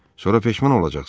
Sonra peşman olacaqsınız.